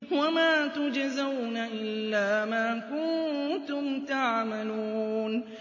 وَمَا تُجْزَوْنَ إِلَّا مَا كُنتُمْ تَعْمَلُونَ